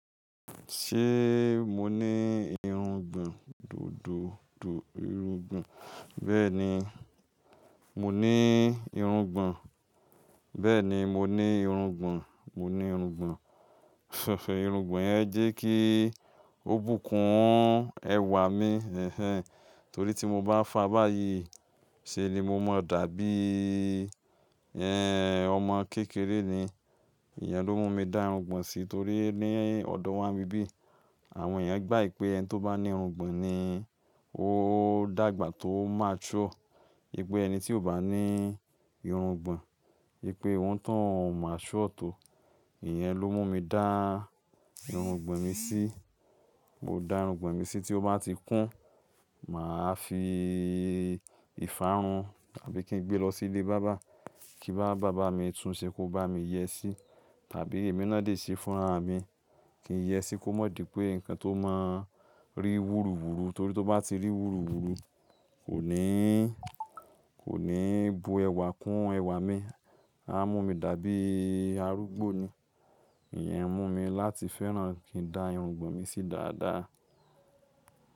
Ṣé mo ní irungbọ̀n dódóòdú irungbọ̀n, bẹ́ẹ̀ni, mo ní irungbọ̀n, bẹ́ẹ̀ni mo ní irungbọ̀n, mo ní irungbọ̀n. Irungbọ̀n yẹn jẹ́ kí ó bùkún ẹwà mi. Torí tí mo bá fàbáyìí, ṣe ni mo mọ dàbí, ẹ́n ọmọ kékeré ni. Ìyẹn ló mú mi dá irungbọ̀n sí torí ní ọ̀dọ̀ wá ni bi bí, àwọn èèyàn gba wi pé ẹni tó bá ní irungbọ̀n ni ó dàgbà tó mature, pé ẹni tí ò bá ní irungbọ̀n, wípé òun tán o mature tó. Ìyẹn ló mú mi dá irungbọ̀n mi sí. Mo dá irungbọ̀n mi sí tí ó bá ti kún, màá fi ìfárun tàbí kí n gbé lọ sí ilé barber, kí bá barber mi tún ṣe kó bá mi yẹ sí tàbí èmi náà dé ṣe fúnraà mi kí n yẹ sí kó má di pé nǹkan tó máa ń rí wúruwúru torí tó bá ti rí wúruwúru kò ní, kò ní bu ẹwà kún ẹwà mi. A mú mi dàbí arúgbó ni. Ìyẹn mú mi láti fẹ́ràn kí n dá irungbọ̀n mi sí dáadáa.